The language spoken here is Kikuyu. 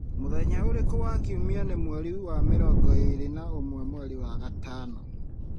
mũthenya uriku wa kiumia nĩ mweri wa mĩrongo ĩĩrĩ na ũmwe mweri wa gatano